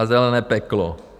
A zelené peklo.